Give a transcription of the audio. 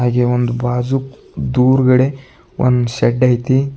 ಹಾಗೆ ಒಂದು ಬಾಜುಕ್ ದೂರ್ ಗಡೆ ಒಂದು ಷಡ್ ಐತಿ.